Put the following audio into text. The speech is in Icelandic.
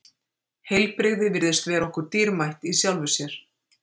Heilbrigði virðist vera okkur dýrmætt í sjálfu sér.